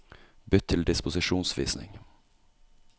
Bytt til disposisjonsvisning